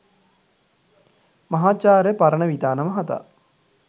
මහාචාර්ය පරණවිතාන මහතා